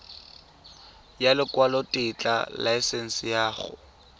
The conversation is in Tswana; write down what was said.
ya lekwalotetla laesense ya go